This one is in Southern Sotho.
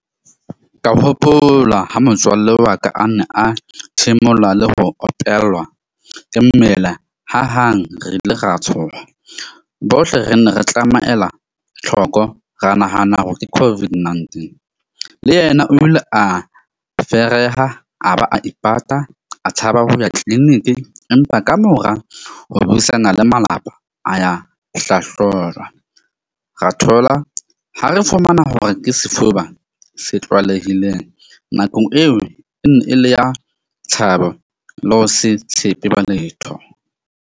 Ka hopola ho motswalle wa ka a nne a thimula le ho opelwa ke mmele ha hang re ile ra tshoha. Bohle re nne re tlameela tlhoko, ra nahana hore ke COVID-19. Le yena o ile a fereha a ba a ipata a tshaba ho ya clinic empa ka mora ho buisana le malapa a ya hlahlojwa. Ra thola ha re fumana hore ke sefuba se tlwalehileng nakong eo e le ya tshaba le ho se tshepe ba letho.